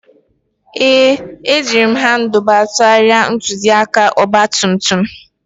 Ee, ejiri m Handuba tụgharịa ntụzịaka ọgba tum tum